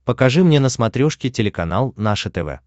покажи мне на смотрешке телеканал наше тв